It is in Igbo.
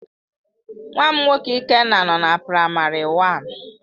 Nwam nwoke Ikenna no na primary one.